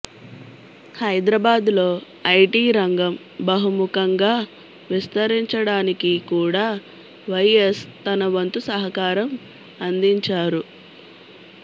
హైదరాబాద్ లో ఐటీ రంగం బహుముఖంగా విస్తరింరచడానికి కూడా వైఎస్ తన వంతు సహకారం అందించారు